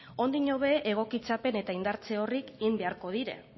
ondiño be egokitzapen eta indartze horiek egon beharko dire